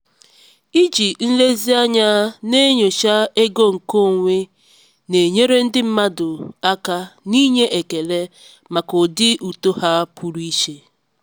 iji nlezianya na-enyocha ego nkeonwe na-enyere ndị mmadụ aka n'inye ekele maka ụdị uto ha pụrụ iche.